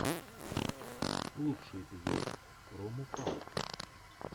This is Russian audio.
лучший эпизод промопалт